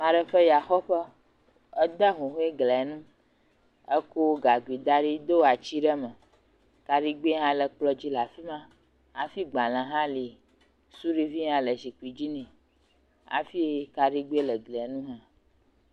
maɖe ƒe yaxɔƒe edé huhoe glia ŋu eko gagui daɖi dó atsi ɖe me kaɖigbɛ hã le kplɔ̃ dzi la'fima hafi gbale hã li suɖivi hã le zikpi dzi nɛ hafi kaɖigbɛ hã le glia ŋu